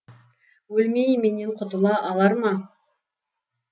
өлмей менен құтыла алар ма